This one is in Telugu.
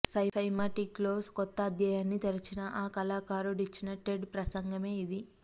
సైమాటిక్స్లో కొత్త అధ్యాయాన్ని తెరచిన ఆ కళాకారుడిచ్చిన టెడ్ ప్రసంగమే ఇది